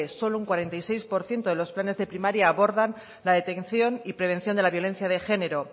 solo un cuarenta y seis por ciento de los planes de primaria abordan la detención y prevención de la violencia de género